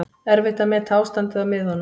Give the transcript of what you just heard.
Erfitt að meta ástandið á miðunum